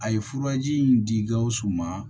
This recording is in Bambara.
A ye furaji in di gawusu ma